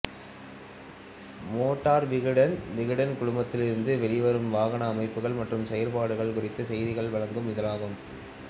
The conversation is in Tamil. மோட்டார் விகடன் விகடன் குழுமத்திலிருந்து வெளிவரும் வாகன அமைப்புகள் மற்றும் செயற்பாடுகள் குறித்த செய்திகள் வழங்கும் இதழாகும்